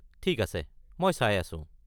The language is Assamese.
ঠিক আছে, মই চাই আছো।